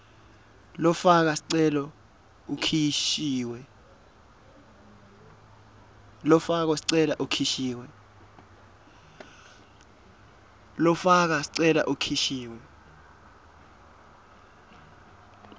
lofaka sicelo ukhishiwe